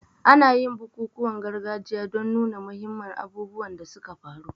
Ana yin bukukuwan gargajiya don nuna muhimman abubuwan da suka faru.